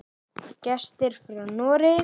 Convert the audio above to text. Gestir frá Noregi.